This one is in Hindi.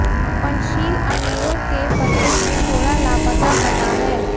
पंचशील अमीरों के पते में थोड़ा लापता पता है